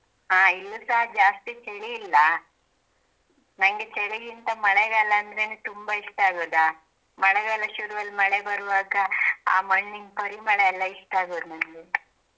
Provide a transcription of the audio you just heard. ಹಾಂ ಇಲ್ಲುಸಾ ಜಾಸ್ತಿ ಚಳಿ ಇಲ್ಲ ನಂಗೆ ಚಳಿಗಿಂತ ಮಳೆಗಾಲ ಅಂದ್ರೆನೆ ತುಂಬ ಇಷ್ಟ ಆಗೋದಾ ಮಳೆಗಾಲ ಶುರು ಅಲ್ಲಿ ಮಳೆ ಬರುವಾಗ ಆ ಮಣ್ಣಿನ್ ಪರಿಮಳ ಎಲ್ಲ ಇಷ್ಟ ಆಗುದ್ ನಂಗೆ.